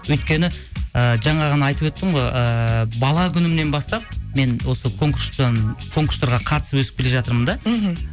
өйткені ыыы жаңа ғана айтып өттім ғой ыыы бала күнімнен бастап мен осы конкурстан конкурстарға қатысып өсіп келе жатырмын да мхм